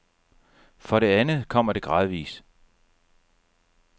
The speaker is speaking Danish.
For det andet kommer det gradvis.